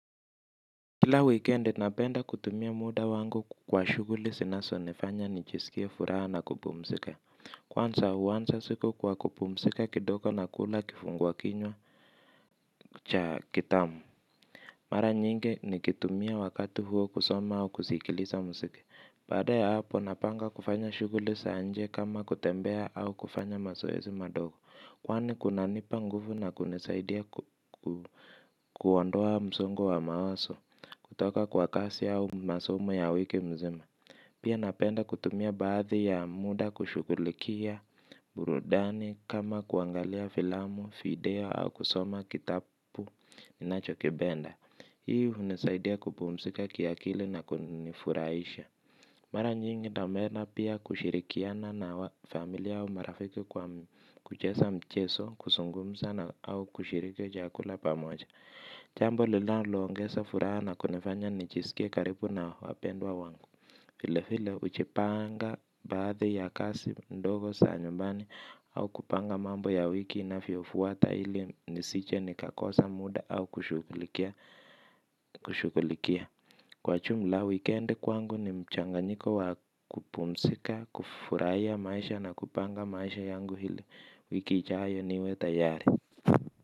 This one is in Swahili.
Kila wikendi napenda kutumia muda wangu kwa shughuli zinazonifanya nijisikie furaha na kupumzika. Kwanza huanza siku kwa kupumzika kidogo na kula kifungua kinywa cha kitamu. Mara nyingi nikitumia wakati huo kusoma au kusikiliza mziki. Baada ya hapo napanga kufanya shughuli za nje kama kutembea au kufanya mazoezi madogo. Kwani kunanipa nguvu na kunisaidia kuondoa msongo wa mawazo kutoka kwa kazi au masomo ya wiki mzima. Pia napenda kutumia baadhi ya muda kushughulikia burudani kama kuangalia filamu, video au kusoma kitabu ninachokipenda. Hii hunisaidia kupumzika ki akili na kunifurahisha. Mara nyingi namena pia kushirikiana na familia au marafiki kwa kucheza mcheso. Kuzungumza na au kushiriki chakula pamoja. Jambo lilalo ongesa furaha na kunifanya nijisikie karibu na wapendwa wangu vile vile hujipanga baadhi ya kazi ndogo za nyumbani. Au kupanga mambo ya wiki inavyofuata ili nisije nikakosa muda au kushughulikia. Kwa ujumla wikendi kwangu ni mchanganyiko wa kupumzika, kufurahiya maisha na kupanga maisha yangu ili wiki ijayo niwe tayari.